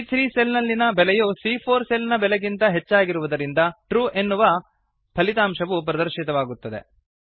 ಸಿಎ3 cell ನಲ್ಲಿನ ಬೆಲೆಯು ಸಿಎ4 ಸೆಲ್ ನ ಬೆಲೆಗಿಂತ ಹೆಚ್ಚಾಗಿರುವುದರಿಂದ ಟ್ರೂ ಎನ್ನುವ ಫಲಿತಾಂಶ ಪ್ರದರ್ಶಿತವಾಗುತ್ತದೆ